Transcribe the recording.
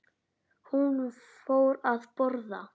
Hún fór að borða.